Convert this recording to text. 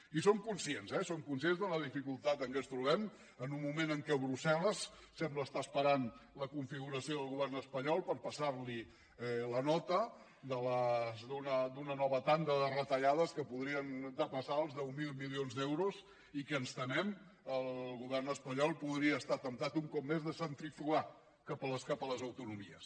i som conscients eh de la dificultat en què ens trobem en un moment en què brussel·les sembla que esperi la configuració del govern espanyol per passar li la nota d’una nova tanda de retallades que podrien depassar els deu mil milions d’euros i que ens temem que el govern espanyol podria estar temptat un cop més de centrifugar cap a les autonomies